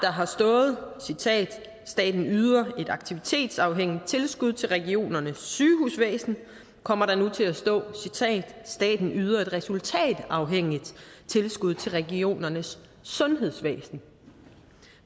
har stået staten yder et aktivitetsafhængigt tilskud til regionernes sygehusvæsen kommer der nu til at stå staten yder et resultatafhængigt tilskud til regionernes sundhedsvæsen